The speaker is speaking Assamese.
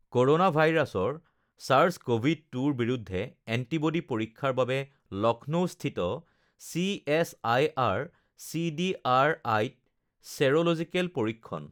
কোৰোনা ভাইৰাছৰ ছাৰ্ছ কভিড ২ৰ বিৰুদ্ধে এণ্টিবডী পৰীক্ষাৰ বাবে লক্ষ্ণৌস্থিত চিএছআইআৰ চিডিআৰআইত ছেৰলজিকেল পৰীক্ষণ